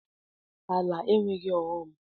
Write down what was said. Ala enweghị ọghọm.